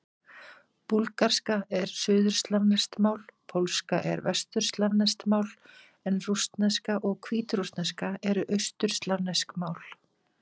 Búlgarska er suðurslavneskt mál, pólska er vesturslavneskt mál en rússneska og hvítrússneska eru austurslavnesk mál.